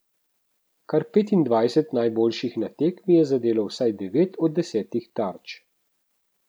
Kar petindvajset najboljših na tekmi je zadelo vsaj devet od desetih tarč.